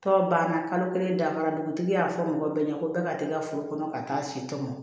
Tɔ banna kalo kelen dafara dugutigi y'a fɔ mɔgɔ bɛɛ ɲɛna ko bɛɛ ka teli ka furu kɔnɔ ka taa si tɔmɔ